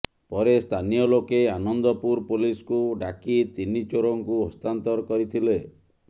ପରେ ସ୍ଥାନୀୟ ଲୋକେ ଆନନ୍ଦପୁର ପୋଲିସକୁ ଡାକି ତିନି ଚୋରଙ୍କୁ ହସ୍ଥାନ୍ତର କରିଥିଲେ